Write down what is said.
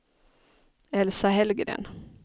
Elsa Hellgren